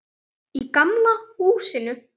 Í gamla húsinu.